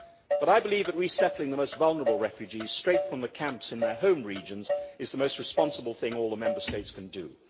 But I believe that resettling the most vulnerable refugees straight from the camps in their home regions is the most responsible thing all the Member States can do.